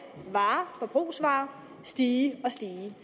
forbrugsvarer stige og stige